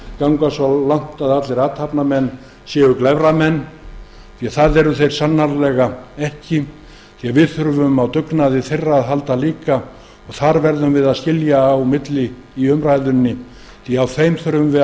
ganga svo langt í þessari umræðu að segja að allir athafnamenn séu glæframenn því að það eru þeir sannarlega ekki við þurfum á dugnaði þeirra að halda og þar verðum við að skilja á milli í umræðunni við þurfum á þeim við að